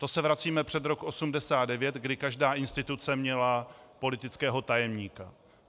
To se vracíme před rok 1989, kdy každá instituce měla politického tajemníka.